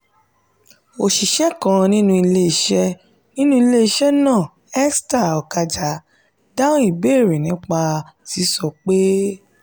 "oníṣẹ́ kan nínú iléeṣẹ́ nínú iléeṣẹ́ náà esther okaja dáhùn ìbéèrè náà nípa sísọ pé: